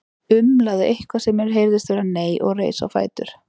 Umlaði eitthvað sem mér heyrðist vera nei og reis á fætur.